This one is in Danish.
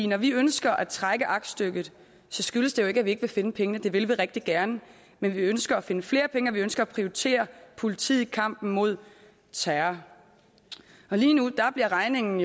når vi ønsker at trække aktstykket skyldes det jo ikke at vi ikke vil finde pengene det vil vi rigtig gerne men vi ønsker at finde flere penge og vi ønsker at prioritere politiet i kampen mod terror lige nu bliver regningen